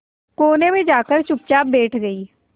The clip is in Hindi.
कोने में जाकर चुपचाप बैठ गई